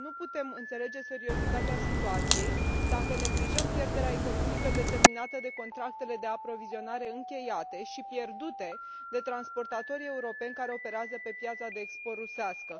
Nu putem înțelege seriozitatea situației dacă neglijăm pierderea economică determinată de contractele de aprovizionare încheiate și pierdute de transportatorii europeni care operează pe piața de export rusească.